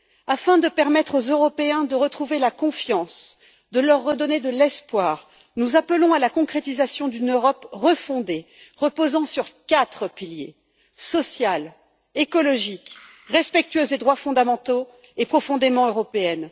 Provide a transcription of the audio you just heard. Afin de permettre aux Européens de retrouver la confiance, de leur redonner de l'espoir, nous appelons à la concrétisation d'une Europe refondée reposant sur quatre piliers, à savoir d'une Europe sociale, écologique, respectueuse des droits fondamentaux et profondément européenne.